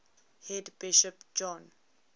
head bishop john